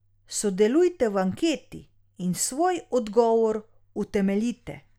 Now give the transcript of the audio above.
Sodelujte v anketi in svoj odgovor utemeljite.